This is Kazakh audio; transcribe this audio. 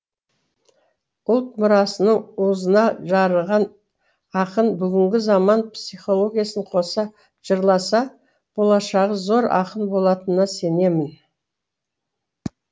ұлт мұрасының уызына жарыған ақын бүгінгі заман психологиясын қоса жырласа болашағы зор ақын болатынына сенемін